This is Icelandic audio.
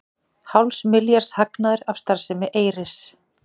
Hálfs milljarðs hagnaður af starfsemi Eyris